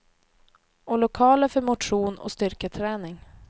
Och lokaler för motion och styrketräning.